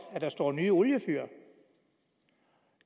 at der står nyt oliefyr